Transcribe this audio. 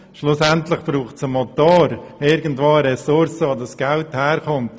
Schliesslich braucht es einen Motor, eine Ressource, aus der das Geld herkommt.